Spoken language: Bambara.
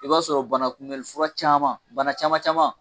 I b'a sɔrɔ banakunmɛli fura caman bana caman caman